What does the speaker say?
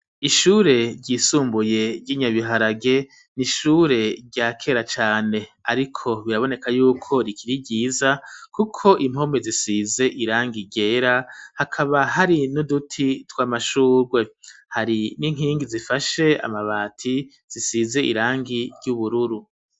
Ishure ryisumbuye ry'inyabiharage n'ishure ryakera cane ariko biraboneka yuko rikiri ryiza kuko impome zisize irangi igera hakaba hari n'uduti tw'amashurwe, hari n'inkingi zifashe amabati zisize irangi ryubururu.